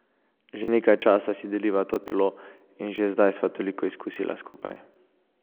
Že nekaj časa si deliva to telo, in že zdaj sva toliko izkusila skupaj.